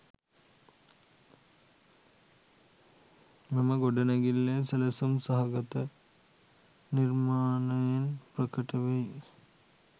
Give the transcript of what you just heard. මෙම ගොඩනැගිල්ලේ සැලසුම් සහගත නිර්මාණයෙන් ප්‍රකට වෙයි.